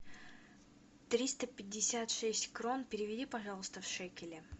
триста пятьдесят шесть крон переведи пожалуйста в шекели